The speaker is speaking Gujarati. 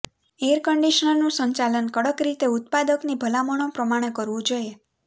એર કંડિશનરનું સંચાલન કડક રીતે ઉત્પાદકની ભલામણો પ્રમાણે કરવું જોઈએ